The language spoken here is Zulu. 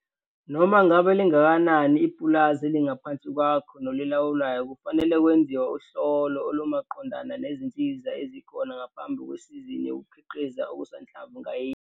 Noma ngabe lingakanani ipulazi elingaphansi kwakho nolilawulayo kufanele kwenziwe uhlolo olumaqondana nezinsiza ezikhona ngaphambi kwesizini yokukhiqiza okusanhlamvu ngayinye.